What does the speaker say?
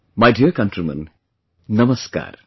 My dear countrymen, Namaskar